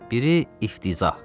Biri iftiza.